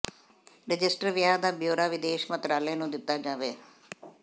register ਵਿਆਹਾਂ ਦਾ bureau ਵਿਦੇਸ਼ ਮੰਤਰਾਲੇ ਨੂੰ ਦਿੱਤਾ ਜਾਵੇ